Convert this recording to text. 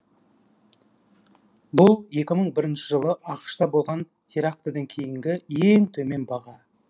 бұл екі мың бірінші жылғы ақш та болған терактіден кейінгі ең төмен баға